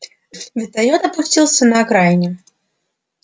вертолёт опустился на окраине